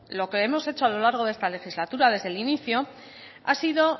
lo que hemos hecho a lo largo de esta legislatura desde el inicio ha sido